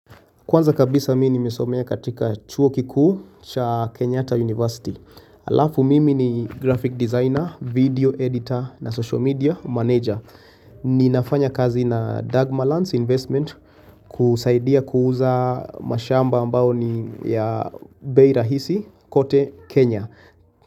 Kwanza kabisa mimi nimesomea katika chuo kikuu cha Kenyatta University. Alafu mimi ni graphic designer, video editor na social media manager. Ninafanya kazi na Dagmar Lance Investment kusaidia kuuza mashamba ambao ni ya bei rahisi kote Kenya.